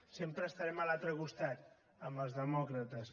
sempre estarem a l’altre costat amb els demòcrates